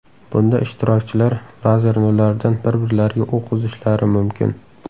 Bunda ishtirokchilar lazer nurlaridan bir-birlariga o‘q uzishlari mumkin.